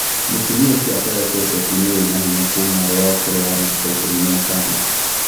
Mũtumia ũcio akoretwo ũteti-inĩ wĩna hinya kuuma arĩ wa ũkũrũ wa mĩaka ikũmi na itano.